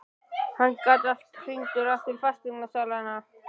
Hann gat alltaf hringt aftur í fasteignasalann.